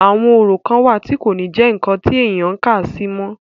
àwọn orò kan wà tí kò ní jẹ́ ǹkan tí èèyàn ń kàsí mọ́